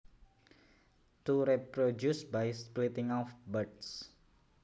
To reproduce by splitting off buds